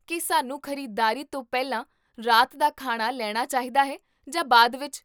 ਕੀ ਸਾਨੂੰ ਖ਼ਰੀਦਦਾਰੀ ਤੋਂ ਪਹਿਲਾਂ ਰਾਤ ਦਾ ਖਾਣਾ ਲੈਣਾ ਚਾਹੀਦਾ ਹੈ ਜਾਂ ਬਾਅਦ ਵਿੱਚ?